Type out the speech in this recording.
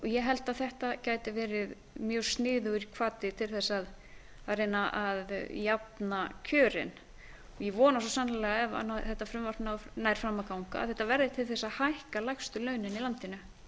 ég held að þetta gæti verið mjög sniðugur hvati til þess að reyna að jafna kjörin ég vona svo sannarlega ef þetta frumvarp nær fram að ganga að þetta verði til þess að hækka lægstu launin í landinu